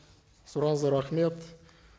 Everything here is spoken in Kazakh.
сұрағыңызға рахмет